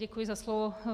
Děkuji za slovo.